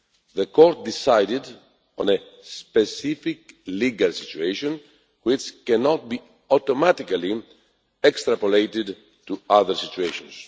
The Court ruled on a specific legal situation, which cannot be automatically extrapolated to other situations.